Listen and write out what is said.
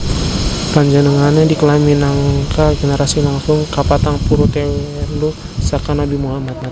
Panjenengané diklaim minangka generasi langsung kapatang puluh telu saka Nabi Muhammad